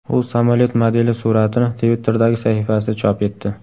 U samolyot modeli suratini Twitter’dagi sahifasida chop etdi.